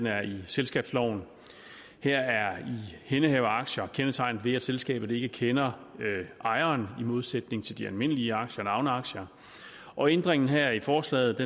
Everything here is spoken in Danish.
er i selskabsloven her er ihændehaveraktier kendetegnet ved at selskabet ikke kender ejeren i modsætning til de almindelige aktier navneaktier og ændringen her i forslaget